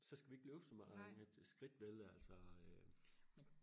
så skal vi ikke løbe så meget med skridt altså øh